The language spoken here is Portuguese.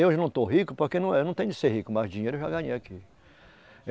Eu hoje não estou rico porque eu não eu não tenho de ser rico, mas dinheiro eu já ganhei aqui.